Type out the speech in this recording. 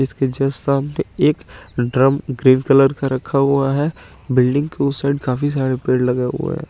इसके जस्ट सामने एक ड्रम ग्रीन कलर का रखा हुआ है बिल्डिंग के उस साइड काफी सारे पेड़ लगे हुए है।